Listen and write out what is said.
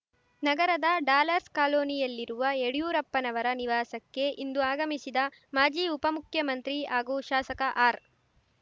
ನಗರದ ಡಾಲರ್ಸ್ ಕಾಲೋನಿಯಲ್ಲಿರುವ ಯಡಿಯೂರಪ್ಪನವರ ನಿವಾಸಕ್ಕೆ ಇಂದು ಆಗಮಿಸಿದ ಮಾಜಿ ಉಪಮುಖ್ಯಮಂತ್ರಿ ಹಾಗೂ ಶಾಸಕ ಆರ್